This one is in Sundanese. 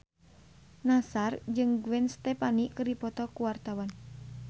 Nassar jeung Gwen Stefani keur dipoto ku wartawan